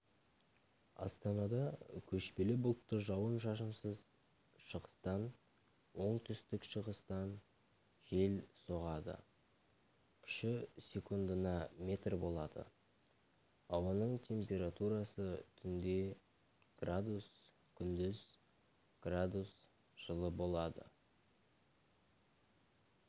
астанада көшпелі бұлтты жауын-шашынсыз шығыстан оңтүстік-шығыстан жел соғады күші секундына метр болады ауаның температурасы түнде градус күндіз градус жылы болады